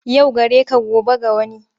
Yau gare ka gobe ga wani.